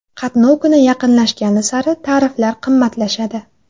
Qatnov kuni yaqinlashgani sari tariflar qimmatlashadi.